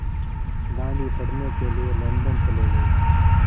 गांधी पढ़ने के लिए लंदन चले गए